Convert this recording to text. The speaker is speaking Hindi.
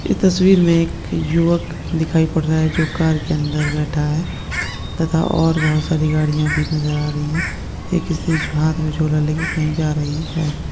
ये तस्वीर में एक युवक दिखाई पड़ रहा है जो कार के अंदर बैठा है तथा और बहुत सारी गाड़ियां भी नजर आ रही है यह किसी जो हाथ में झूला लेकर कहीं जा रही है।